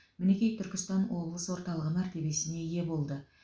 мінеки түркістан облыс орталығы мәртебесіне ие болды